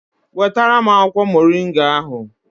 Wetara m akwụkwọ Moringa ahụ!